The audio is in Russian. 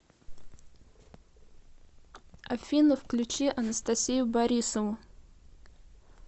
афина включи анастасию борисову